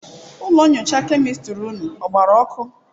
ụlọ nyocha kemịstịrị ụnụ ọ gbarụ ọkụ?